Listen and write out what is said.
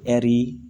Ɛri